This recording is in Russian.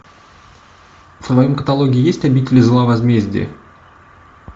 в твоем каталоге есть обитель зла возмездие